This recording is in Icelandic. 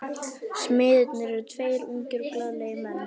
Smiðirnir eru tveir ungir og glaðlegir menn.